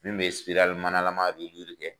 Min bɛ manalama kɛ.